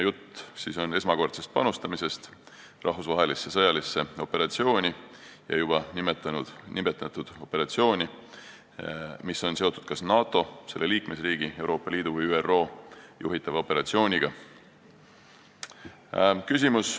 Jutt on siis esmakordsest panustamisest sõjalisse operatsiooni ja juba nimetatud muusse rahvusvahelisse operatsiooni, mida juhib kas NATO, selle liikmesriik, Euroopa Liit või ÜRO.